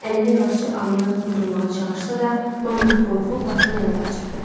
Əlini yavaşca alnına toxundurmağa çalışsa da, manqurt qorxub başını yana qaçırtdı.